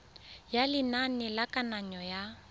ya lenane la kananyo ya